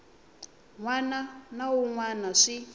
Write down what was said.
wana na wun wana swi